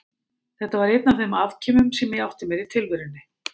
Þetta var einn af þeim afkimum sem ég átti mér í tilverunni.